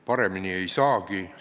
Paremini ei saagi.